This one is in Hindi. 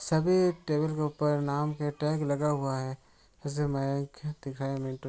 सभी टेबल के ऊपर नाम के टैग लगा हुआ है।